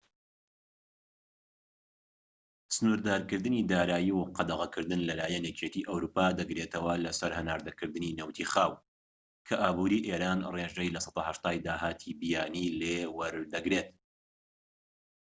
سنووردارکردنی دارایی و قەدەغەکردن لە لایەن یەکێتی ئەوروپا دەگرێتەوە لە سەر هەناردەکردنی نەوتی خاو، کە ئابوری ئێران ڕێژەی 80%ی داهاتی بیانی لێ وەدەگرێت